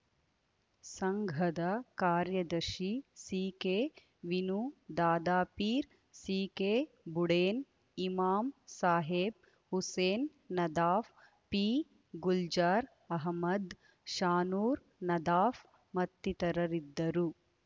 ಸಂಘದ ಕಾರ್ಯದರ್ಶಿ ಸಿಕೆವಿನ್ನು ದಾದಾಪೀರ್‌ ಸಿಕೆಬುಡೇನ್‌ ಇಮಾಮ್‌ ಸಾಹೇಬ್‌ ಹುಸೇನ್‌ ನದಾಫ್‌ ಪಿಗುಲ್ಜಾರ್‌ ಅಹಮ್ಮದ್‌ ಶಾನೂರ್‌ ನದಾಫ್‌ ಮತ್ತಿತರರಿದ್ದರು